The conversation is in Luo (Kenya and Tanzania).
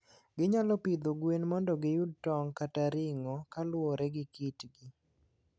Ginyalo pidho gwen mondo giyud tong' kata ring'o kaluwore gi kitgi.